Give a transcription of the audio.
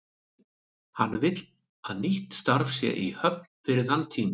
Hann vill að nýtt starf sé í höfn fyrir þann tíma.